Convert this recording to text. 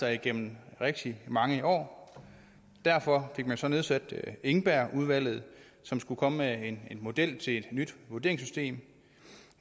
der igennem rigtig mange år og derfor fik man så nedsat engbergudvalget som skulle komme med en model til et nyt vurderingssystem